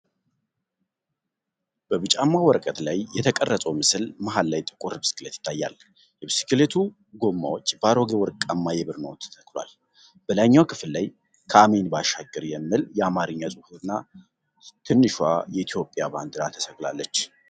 በቢጫማ ወረቀት ላይ የተቀረጸው ምስል መሀል ላይ ጥቁር ብስክሌት ይታያል። የብስክሌቱ ጎማዎች በአሮጌ ወርቃማ የብር ኖት ተተክተዋል። በላይኛው ክፍል ላይ "ከአሜን ባሻገር" የሚል የአማርኛ ጽሑፍና ትንሿ የኢትዮጵያ ባንዲራ ተሰቅላለች።